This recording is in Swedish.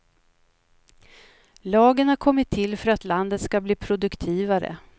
Lagen har kommit till för att landet ska bli produktivare.